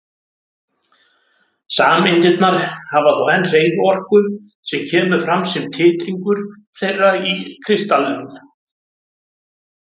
Sameindirnar hafa þó enn hreyfiorku sem kemur fram sem titringur þeirra í kristallinum.